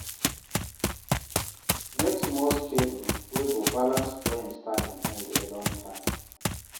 Make small schedule wey go balance friends time and alone time